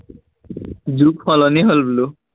যুগ সলনি হল বোলো